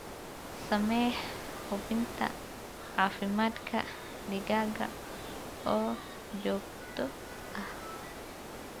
Samee hubinta caafimaadka digaaga oo joogto ah.